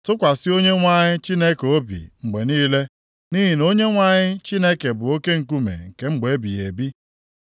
Tụkwasị Onyenwe anyị Chineke obi mgbe niile, nʼihi na Onyenwe anyị Chineke bụ oke nkume nke mgbe ebighị ebi.